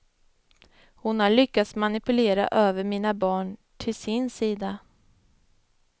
Hon har lyckats manipulera över mina barn till sin sida.